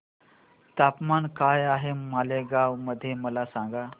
तापमान काय आहे मालेगाव मध्ये मला सांगा